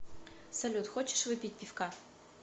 салют хочешь выпить пивка